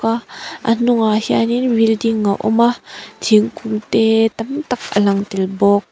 a a hnungah hianin building a awm a thingkung te tam tak a lang tel bawk.